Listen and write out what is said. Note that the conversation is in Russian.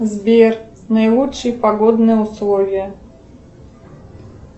сбер наилучшие погодные условия